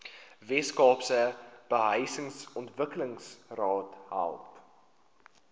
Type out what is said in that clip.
weskaapse behuisingsontwikkelingsraad help